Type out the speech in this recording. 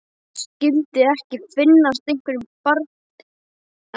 Skyldi ekki finnast einhver barnapía í öllum bænum.